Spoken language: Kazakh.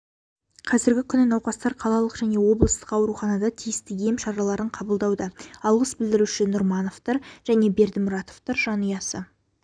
қазіргі күні науқастар қалалық және облыстық ауруханада тиісті ем-шараларын қабылдауда алғыс білдіруші нұрмановтар және бердімұратовтар жанұясы